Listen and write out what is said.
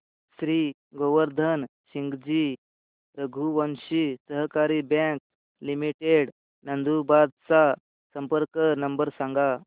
श्री गोवर्धन सिंगजी रघुवंशी सहकारी bank limited Nandurbar चा संपर्क नंबर सांगा